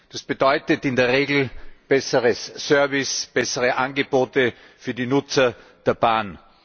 Das bedeutet in der Regel besseren Service, bessere Angebote für die Nutzer der Bahn.